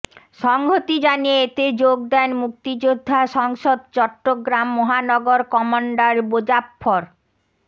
সংহতি জানিয়ে এতে যোগ দেন মুক্তিযোদ্ধা সংসদ চট্টগ্রাম মহানগর কমান্ডার মোজাফফর